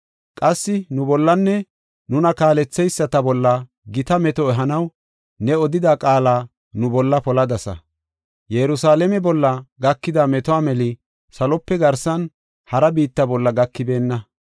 Qassi nu bollanne nuna kaaletheyisata bolla gita meto ehanaw ne odida qaala nu bolla poladasa. Yerusalaame bolla gakida metuwa meli salope garsan hara biitta bolla gakibeenna.